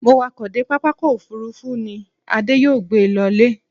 Mo wakọ̀ dé pápákọ̀ òfurufú ni, Adé yóò gbé e lọ ilé.